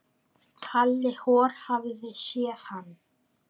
Halli hor hafði séð hann.